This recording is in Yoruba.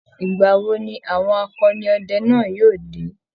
ìgbà wo ni àwọn akọni ọdẹ náà yóo dé?